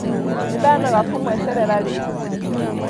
Nĩndanoga kũmweterera rĩu